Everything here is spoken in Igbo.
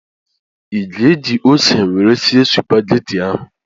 ị ga-eji ose nwere sie Supagetii ahụ?